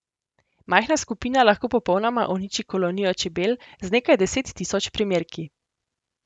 Majhna skupina lahko popolnoma uniči kolonijo čebel z nekaj deset tisoč primerki.